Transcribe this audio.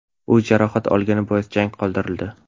U jarohat olgani bois jang qoldirildi.